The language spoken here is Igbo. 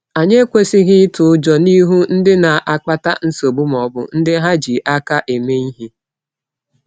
Anyị ekwesịghị ịtụ ụjọ n’ihu ndị na-akpata nsogbu ma ọ bụ ndị ha ji aka eme ihe.